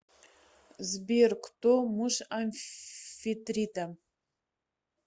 сбер кто муж амфитрита